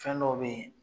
Fɛn dɔw be ye